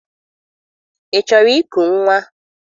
Ị chọrọ iku nnwa?